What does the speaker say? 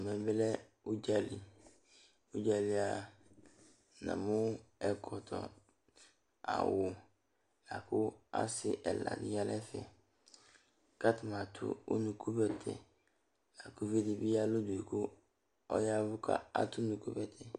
Ɛvɛ lɛ ʋdzǝli Nʋ ʋdza yɛ li namʋ ɛkɔtɔ nʋ awʋ, lakʋ asɩ ɛla dɩnɩ aya nʋ ɛfɛ, kʋ atanɩ adʋ unukubɛtɛ Lakʋ uluvi dɩ bɩ ɔya ɛvʋ nʋ ʋdʋ kʋ adʋ unukubɛtɛ